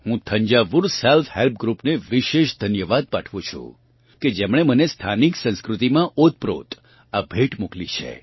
હું Thanjavur self help group ને વિશેષ ધન્યવાદ પાઠવું છું કે જેમણે મને સ્થાનિક સંસ્કૃતિમાં ઓતપ્રોથ આ ભેટ મોકલી છે